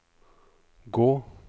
gå